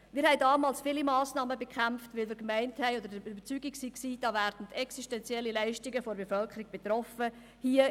Wir haben damals viele Massnahmen bekämpft, da wir der Überzeugung waren, dass damit existenzielle Leistungen der Bevölkerung betroffen werden.